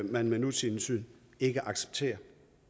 man med nutidens syn ikke accepterer